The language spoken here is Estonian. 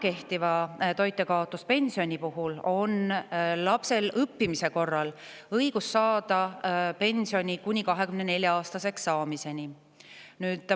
Kehtiva toitjakaotuspensioni puhul on lapsel õppimise korral õigus saada pensioni kuni 24-aastaseks saamiseni.